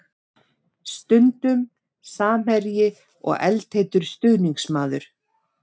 Stundum samherji og eldheitur stuðningsmaður.